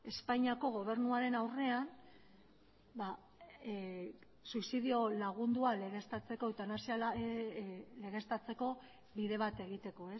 espainiako gobernuaren aurrean ba suizidio lagundua legeztatzeko eutanasia legeztatzeko bide bat egiteko